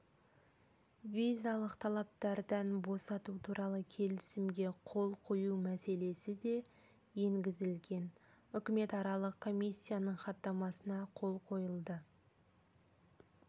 визалық талаптардан босату туралы келісімге қол қою мәселесі де енгізілген үкіметаралық комиссияның хаттамасына қол қойылды